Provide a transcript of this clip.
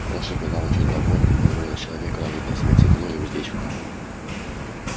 лошадь была очень довольна и позволила человеку надеть на себя седло и уздечку